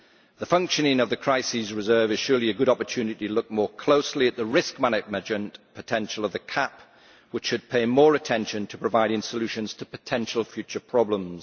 The functioning of the crisis reserve is surely a good opportunity to look more closely at the risk management potential of the CAP, which should pay more attention to providing solutions to potential future problems.